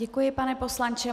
Děkuji, pane poslanče.